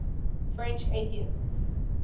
french atheists